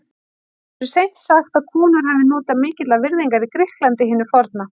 Það verður seint sagt að konur hafi notið mikillar virðingar í Grikklandi hinu forna.